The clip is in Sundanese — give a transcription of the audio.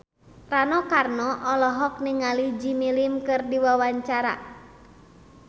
Rano Karno olohok ningali Jimmy Lin keur diwawancara